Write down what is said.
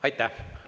Aitäh!